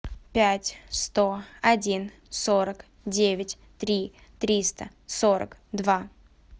пять сто один сорок девять три триста сорок два